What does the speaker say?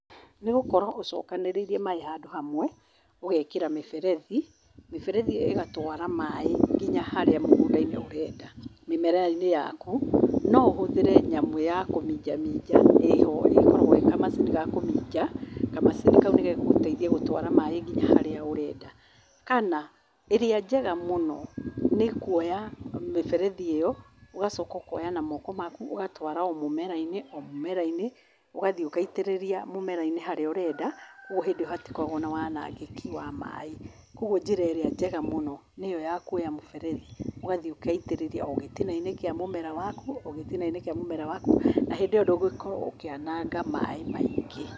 Nĩgũkorwo ũcokanĩrĩirie maaĩ handũ hamwe, ũgekĩra mĩberethi, mĩberethi ĩyo ĩgatwara maaĩ nginya haria mũgũnda-inĩ ũrenda. Mĩmera inĩ yaku no ũhũthĩre nyamũ ya kũminja minja, ĩho ĩkoragwo ĩĩ kamacini ga kũminja, kamacini kau nĩ gegũteithia gũtwara maaĩ nginya haria ũrenda. Kana ĩrĩa njega mũno nĩ kuoya mĩberethi ĩyo, ũgacoka ũkoya na moko maku ũgatwara o mũmera-inĩ ũgathiĩ ũgaitĩrĩria mũmera-inĩ harĩa ũrenda, kwoguo hĩndĩ ĩyo gũtikoragwo na wandĩki wa maaĩ. Koguo njĩra ĩrĩa njega mũno nĩ ĩyo ya kuoya mũberethi ũgathiĩ ũgaitĩrĩria gĩtina-inĩ kĩa mũmera waku na hĩndĩ ĩyo ndũgũkorwo ũkĩananga maaĩ maingĩ.